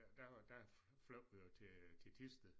Der der fløj vi jo til til Thisted